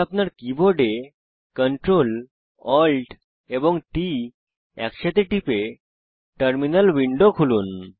আপনার keyboard Ctrl Alt এবং T একসাথে টিপে টার্মিনাল উইন্ডো খুলুন